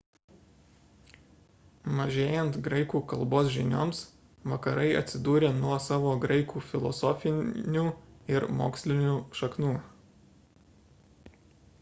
mažėjant graikų kalbos žinioms vakarai atsidūrė nuo savo graikų filosofinių ir mokslinių šaknų